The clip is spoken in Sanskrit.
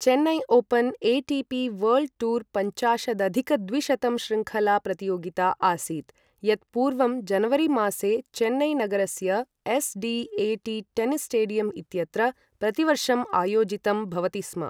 Chennai Open ATP World Tour पञ्चाशदधिक द्विशतं श्रृङ्खला प्रतियोगिता आसीत् यत् पूर्वं जनवरीमासे चेन्नईनगरस्य एसडीएटी टेनिस् स्टेडियम इत्यत्र प्रतिवर्षं आयोजितं भवति स्म ।